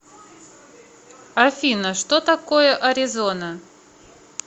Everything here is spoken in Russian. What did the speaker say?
афина что такое аризона